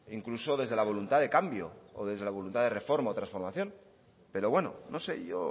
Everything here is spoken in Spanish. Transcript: incluso desde la voluntad de cambio o desde la voluntad de reforma o transformación pero bueno no sé yo